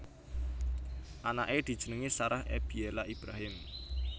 Anaké dijenengi Sarah Ebiela Ibrahim